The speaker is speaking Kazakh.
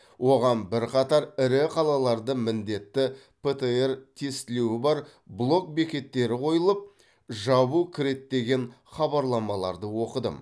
оған бірқатар ірі қалаларды міндетті птр тестілеуі бар блок бекеттері қойылып жабу кіреді деген хабарламаларды оқыдым